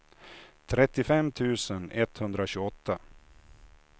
trettiofem tusen etthundratjugoåtta